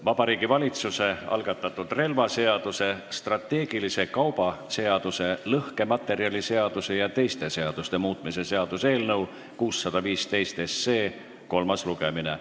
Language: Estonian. Vabariigi Valitsuse algatatud relvaseaduse, strateegilise kauba seaduse, lõhkematerjaliseaduse ja teiste seaduste muutmise seaduse eelnõu 615 kolmas lugemine.